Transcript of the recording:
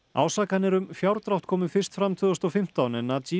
ásakanir um fjárdrátt komu fyrst fram tvö þúsund og fimmtán en